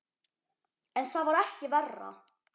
En það var ekki verra.